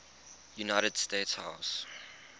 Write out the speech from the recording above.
united states house